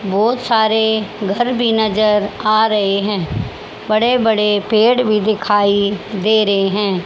बहुत सारे घर भी नजर आ रहे हैं बड़े बड़े पेड़ भी दिखाई दे रहे हैं।